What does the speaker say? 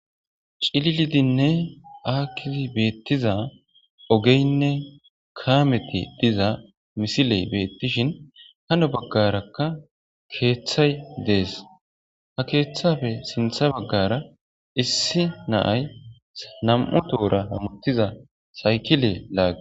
Cililidinne aakkizi beeththiza ogeenne kaamethi diza mislee beeththishin ha nu baggaarakka keeththay des; ha keeththape sinththa baggaara issi na7ay nam7u tohora hemeththiza saykile laagges.